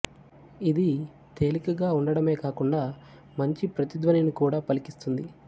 ఇది తేలికగా ఉండటమే కాకుండా మంచి ప్రతిధ్వనిని కూడా పలికిస్తుంది